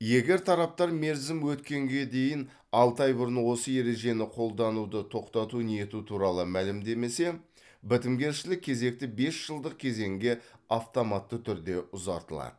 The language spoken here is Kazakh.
егер тараптар мерзім өткенге дейін алты ай бұрын осы ережені қолдануды тоқтату ниеті туралы мәлімдемесе бітімгершілік кезекті бес жылдық кезеңге автоматты түрде ұзартылады